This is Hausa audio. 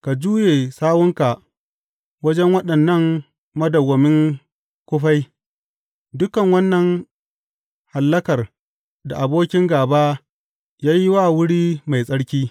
Ka juye sawunka wajen waɗannan madawwamin kufai, dukan wannan hallakar da abokin gāba ya yi wa wuri mai tsarki.